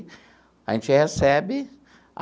A gente recebe